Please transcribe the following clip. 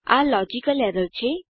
આ logical error છે